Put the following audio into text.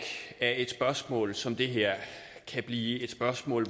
at et spørgsmål som det her kan blive et spørgsmål